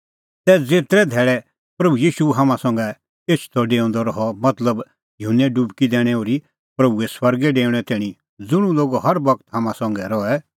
तै ज़ेतरै धैल़ै प्रभू ईशू हाम्हां संघै एछदअडेऊंदअ रहअ मतलब युहन्ने डुबकी दैणैं ओर्ही प्रभूए स्वर्गै डेऊणैं तैणीं ज़ुंण लोग हर बगत हाम्हां संघै रहै